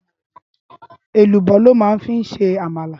Élúbò lò mà fi n sé ámàlá